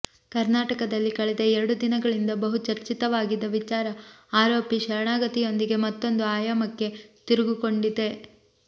ಕರ್ನಾಟಕದಲ್ಲಿ ಕಳೆದ ಎರಡು ದಿನಗಳಿಂದ ಬಹು ಚರ್ಚಿತವಾಗಿದ್ದ ವಿಚಾರ ಆರೋಪಿ ಶರಣಾಗತಿಯೊಂದಿಗೆ ಮತ್ತೊಂದು ಆಯಾಯಮಕ್ಕೆ ತಿರುಗಿಕೊಂಡಿದೆ